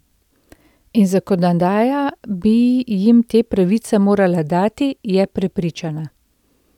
In zakonodaja bi jim te pravice morala dati, je prepričana.